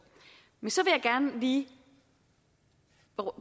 men så gerne lige